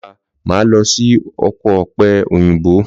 Lọlá máa lọ sí oko òpẹ òyìnbó.